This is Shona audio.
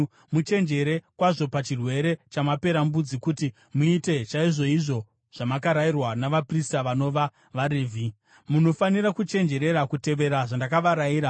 Muchenjere kwazvo pachirwere chamaperembudzi kuti muite chaizvoizvo zvamakarayirwa navaprista vanova vaRevhi. Munofanira kuchenjerera kutevera zvandakavarayira.